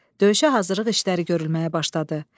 Döyüşə hazırlıq işləri görülməyə başladı.